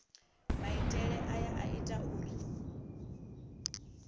maitele aya a ita uri